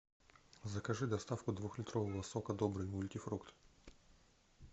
закажи доставку двухлитрового сока добрый мультифрукт